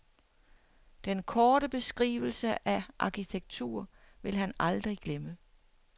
Den korte beskrivelse af arkitektur vil han aldrig glemme.